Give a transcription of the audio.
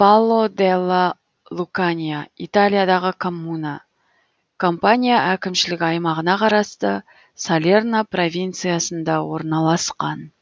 валло делла лукания италиядағы коммуна кампания әкімшілік аймағына қарасты салерно провинциясында орналасқан